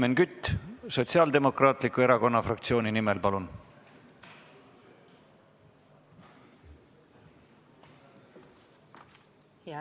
Helmen Kütt Sotsiaaldemokraatliku Erakonna fraktsiooni nimel, palun!